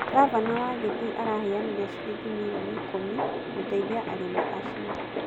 Ngavana wa Gĩthii araheanire shiringi milioni ikũmi gũteithia arimi acio